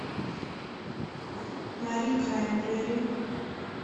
мари краймбрери